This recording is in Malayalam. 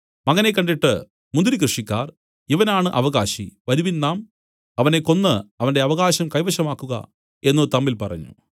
മകനെ കണ്ടിട്ട് മുന്തിരി കൃഷിക്കാർ ഇവനാണ് അവകാശി വരുവിൻ നാം അവനെ കൊന്നു അവന്റെ അവകാശം കൈവശമാക്കുക എന്നു തമ്മിൽ പറഞ്ഞു